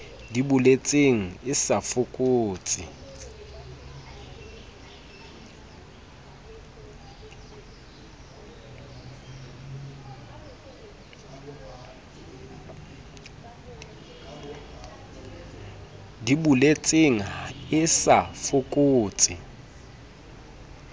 di boletseng e sa fokotse